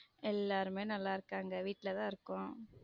எல்லாருமே நல்ல இருகாங்க வீட்ல தான் இருக்கோம்.